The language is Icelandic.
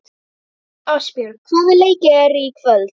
Ástbjörg, hvaða leikir eru í kvöld?